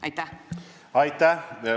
Aitäh!